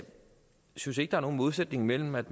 synes ikke der er nogen modsætning mellem at